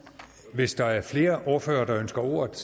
hvis der er flere ordførere der ønsker ordet